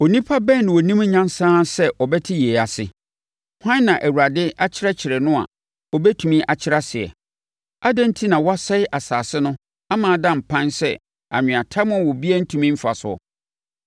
Onipa bɛn na ɔnim nyansa ara sɛ ɔbɛte yei ase? Hwan na Awurade akyerɛkyerɛ no a ɔbɛtumi akyerɛ aseɛ? Adɛn enti na wɔasɛe asase no ama ada mpan sɛ anweatam a obiara ntumi mfa soɔ?